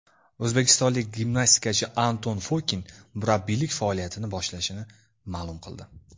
O‘zbekistonlik gimnastikachi Anton Fokin murabbiylik faoliyatini boshlashini ma’lum qildi.